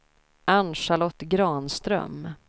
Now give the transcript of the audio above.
Ann-Charlotte Granström